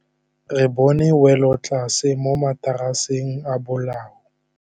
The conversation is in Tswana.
Re bone wêlôtlasê mo mataraseng a bolaô.